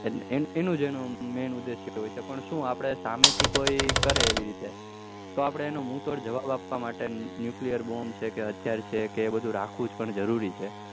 એટલે એનું એનું men જ ઉદેશ હોય છે કે પણ શુ આપડે સામે થી કોઈ કરે એવી રીતે તો આપડે તેનો મુ તોડ જવાબ આપવા માટે nuclear બોમ છે કે હથિયાર છે કે એ બધું રાખવું પણ જરૂરી છે